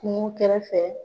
Kungo kɛrɛfɛ